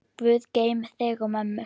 Guð geymi þig og mömmu.